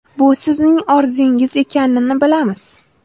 Bu sizning orzungiz ekanini bilamiz!